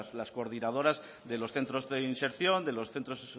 las coordinadoras de los centros de inserción de los centros